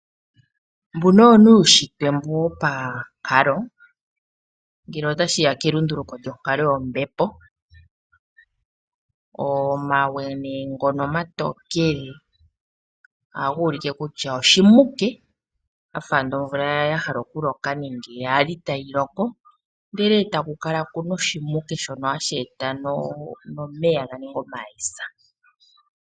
Mbuno owo nee uushitwe mbu wo pankalo ngele tashiya kelunduluko lyonkalo yombepo, omawe nee ngono omatokele ohaga ulike kutya oshimuke ga fa ando omvula ya hala okuloka nenge ya li tayi loko ndele e taku kala ku na oshimuke shono hashi eta nomeya ga ninge ekuma.